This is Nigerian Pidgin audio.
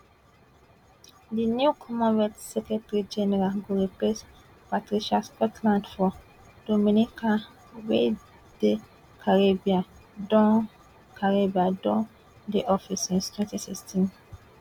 di new commonwealth secretary general go replace patricia scotland from dominica wey di caribbean don caribbean don dey di office since twenty sixteen